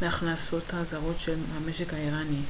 מהכנסות הזרות של המשק האיראני